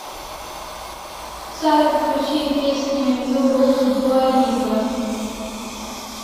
салют включи песню нью рулс дуа липы